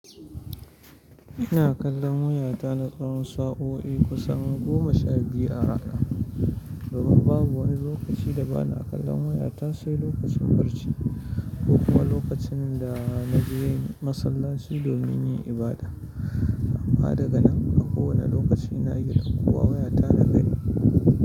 Ina kallon wayata na tsawon sa'o'i kusan goma sha biyu a rana. Domin babu wani lokaci da ba na kallon wayata sai lokacin barci, ko kuma lokacin da na je masallaci domin yin ibada. Amma daga nan a kowane lokaci ina iya dakko wayata na gani.